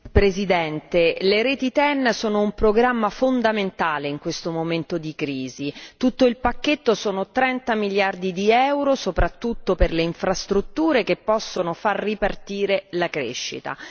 Signora Presidente, le reti TEN sono un programma fondamentale in questo momento di crisi. L'intero il pacchetto rappresenta 30 miliardi euro, soprattutto per le infrastrutture che possono far ripartire la crescita.